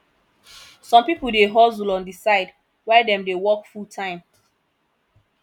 some pipo dey hustle on di side while dem dey work fulltime